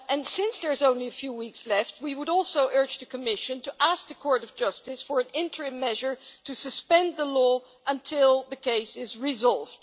Since there are only a few weeks left, we would also urge the Commission to ask the Court of Justice for an interim measure to suspend the law until the case is resolved.